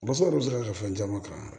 Basa dɔ delila ka fɛn caman kalan